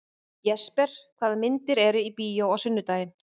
Það er því ekki rétt, sem stundum er haldið fram, að vísindin séu óskeikul.